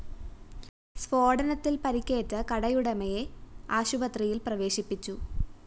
സ്‌ഫോടനത്തില്‍ പരിക്കേറ്റ കടയുടമയെ ആശുപത്രിയില്‍ പ്രവേശിപ്പിച്ചു